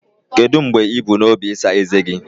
Kedu mgbe ị bu n'obi ịsa ezé gị?